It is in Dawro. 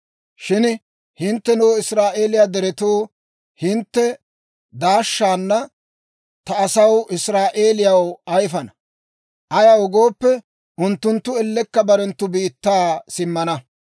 «‹ «Shin hinttenoo, Israa'eeliyaa deretoo, hintte daashana; ta asaw Israa'eeliyaw ayifana. Ayaw gooppe, unttunttu ellekka barenttu biittaa simmana.